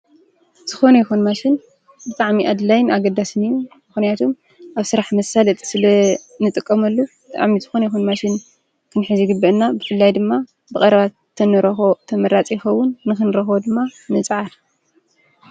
ዝኾነ ይኹን ማሽን ብጣዕሚ ኣድላይን ኣገዳስን እዩ። ምኽንያቱ ኣብ ስራሕ መሳለጢ ስለእንጥቀመሉ አብ ዝኾነ ይኹን ማሽን ክንሕዝ ይግበአና። ብፍላይ ድማ ብቀረባ እንተንረኽቦ ተመራፂ ይኸውን። ንክንረኽቦ ድማ ንፅዓር።